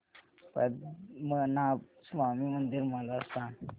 पद्मनाभ स्वामी मंदिर मला सांग